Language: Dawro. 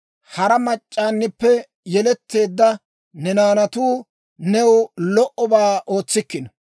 Hara mac'c'aanippe yeletteedda ne naanatuu, new lo"obaa ootsikkino.